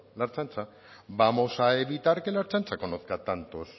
la ertzaintza vamos a evitar que la ertzaintza conozca tantos